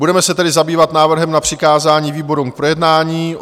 Budeme se tedy zabývat návrhem na přikázání výborům k projednání.